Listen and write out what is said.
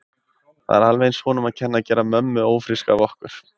Það er alveg eins honum að kenna að gera mömmu ófríska af okkur.